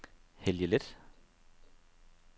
Helge Leth